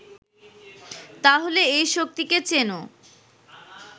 তাহলে এই শক্তিকে চেনো